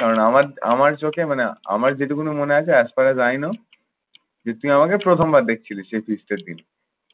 কারণ আমার আমার চোখে মানে আমার যেটুকুনই মনে আছে as per as i know তুই আমাকে প্রথমবার দেখছিলিস সেই feast এর দিন।